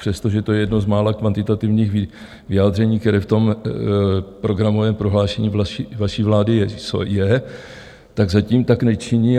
Přestože to je jedno z mála kvantitativních vyjádření, které v tom programovém prohlášení vaší vlády je, tak zatím tak nečiní.